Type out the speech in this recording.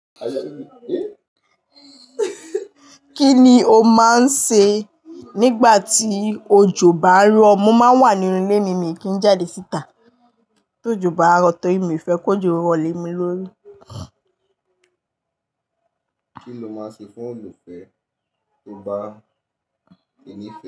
Kí ni o máa ń ṣe nígbà tí òjò bá ń rọ? Mo máa ń wà nínú ilé mi mí kí n jáde síta tó ojò bá rọ torí mi ò fẹ́ kó ojò rọ̀ lé mi lórí. Kí lo máa ń ṣe fún olólùfẹ́ tó bá ti ni fé.